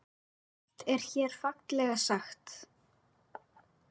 Margt er hér fallega sagt.